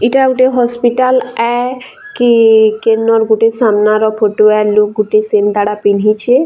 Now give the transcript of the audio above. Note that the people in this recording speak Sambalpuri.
ଇଟା ଗୁଟେ ହସ୍ପିଟାଲ ଏ କି କେନର୍‌ ଗୁଟେ ସାମ୍ନା ର ଫଟୋ ଏ ଲୋକ୍‌ ଗୁଟେ ସେନ୍ତା ଟା ପିନ୍ଧିଛେ ଆ--